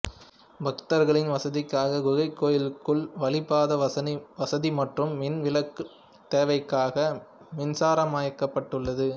பக்தர்களின் வசதிக்காக குகைக்கோயிலுக்குள் வளிப் பதன வசதி மற்றும் மின் விளக்கு தேவைகளுக்காக மின்சாரமயமாக்கப்பட்டுள்ளது